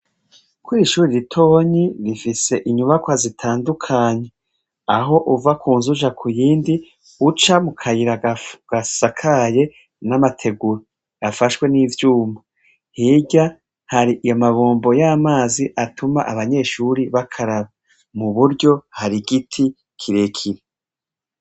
Korishuri ritonyi rifise inyubakoa zitandukanye aho uva ku nzuja ku yindi uca mu kayira gagasakaye n'amateguru afashwe n'ivyumba hirya hari iyo amabombo y'amazi atuma abanyeshuri bakaraba mu buryo hari giti kireki.